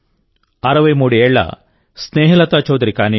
63 ఏళ్ల స్నేహలతా చౌధరి కానీయండి